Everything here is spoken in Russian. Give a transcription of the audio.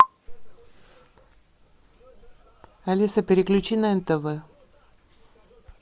алиса переключи на нтв